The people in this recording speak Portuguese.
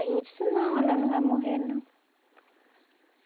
Aí eu disse, não, ela não vai morrer, não.